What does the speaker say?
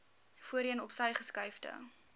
voorheen opsy geskuifde